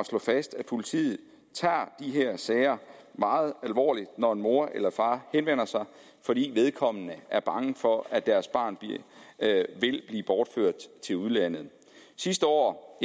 at slå fast at politiet tager de her sager meget alvorligt når en mor eller en far henvender sig fordi vedkommende er bange for at deres barn vil blive bortført til udlandet sidste år